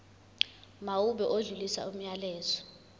mawube odlulisa umyalezo